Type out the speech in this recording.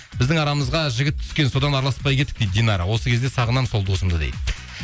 біздің арамызға жігіт түскен содан араласпай кеттік дейді динара осы кезде сағынамын сол досымды дейді